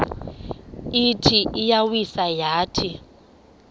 ithi iyawisa yathi